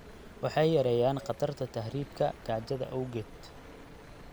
Waxay yareeyaan khatarta tahriibka gaajada awgeed.